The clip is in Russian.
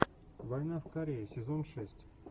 война в корее сезон шесть